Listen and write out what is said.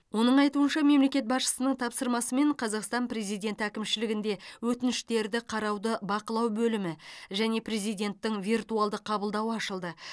оның айтуынша мемлекет басшысының тапсырмасымен қазақстан президенті әкімшілігінде өтініштерді қарауды бақылау бөлімі және президенттің виртуалды қабылдауы ашылды